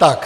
Tak.